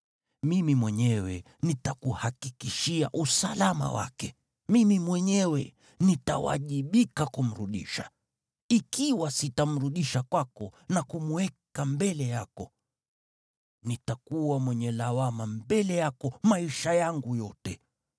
Mimi mwenyewe nitakuhakikishia usalama wake, mimi mwenyewe nitawajibika kumrudisha. Ikiwa sitamrudisha kwako na kumweka mbele yako, nitakuwa mwenye lawama mbele yako maisha yangu yote.